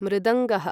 मृदङ्गः